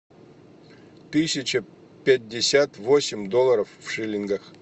тысяча пятьдесят восемь долларов в шиллингах